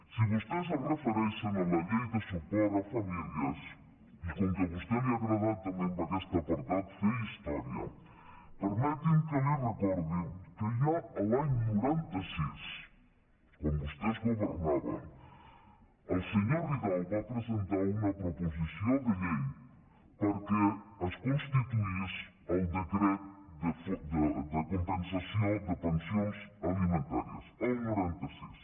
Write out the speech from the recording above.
si vostès es refereixen a la llei de suport a famílies i com que a vostè li ha agradat també en aquest apartat fer història permeti’m que li recordi que ja l’any noranta sis quan vostès governaven el senyor ridao va presentar una proposició de llei perquè es constituís el decret de compensació de pensions alimentàries el noranta sis